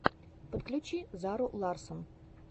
подключи зару ларссон